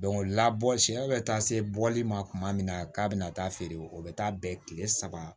labɔ siɲɛ bɛ taa se bɔli ma kuma min na k'a bɛna taa feere o bɛ taa bɛn kile saba